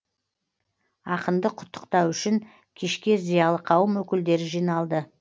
ақынды құттықтау үшін кешке зиялы қауым өкілдері жиналды